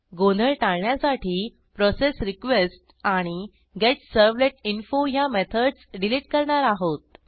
गोंधळ टाळण्यासाठी प्रोसेसरीक्वेस्ट आणि गेटसर्व्हलेटिंफो ह्या मेथडस डिलिट करणार आहोत